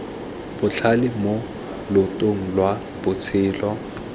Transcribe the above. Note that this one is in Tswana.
botlhale mo loetong lwa botshelo